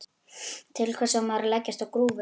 Til hvers á maður að leggjast á grúfu?